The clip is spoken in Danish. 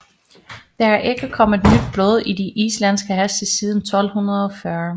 Der er ikke kommet nyt blod i de islandske heste siden 1240